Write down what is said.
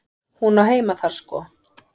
Hún á heima þar sko.